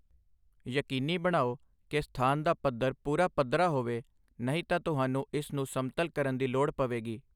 ਯਕੀਨੀ ਬਣਾਓ ਕਿ ਸਥਾਨ ਦਾ ਪੱਧਰ ਪੂਰਾ ਪੱਧਰਾ ਹੋਵੇ, ਨਹੀਂ ਤਾਂ ਤੁਹਾਨੂੰ ਇਸ ਨੂੰ ਸਮਤਲ ਕਰਨ ਦੀ ਲੋੜ ਪਵੇਗੀ।